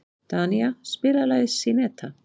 Danía, spilaðu lagið „Syneta“.